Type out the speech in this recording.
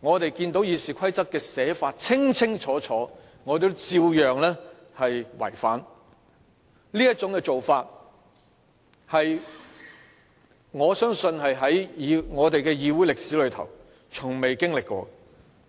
議事規則》已清楚訂明的條文也照樣違反，我相信這種做法在我們的議會歷史中從未經歷過。